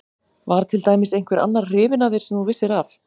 Var til dæmis einhver annar hrifinn af þér sem þú vissir af?